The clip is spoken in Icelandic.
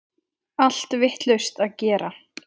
Allt vitlaust að gera!